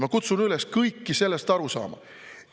Ma kutsun üles kõiki sellest aru saama.